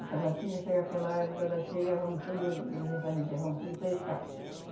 Em Tabatinga chega aquela época da cheia, vão tudo e, diz essa gente aí, vão tudo pescar.